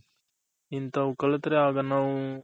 ಇಂಥವ್ ಕಲಿತ್ರೆ ಆಗ ನಾವು